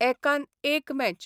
एकान एक मॅच.